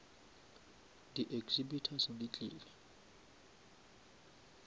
di exhibitors di tlile